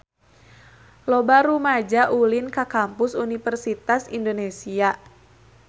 Loba rumaja ulin ka Kampus Universitas Indonesia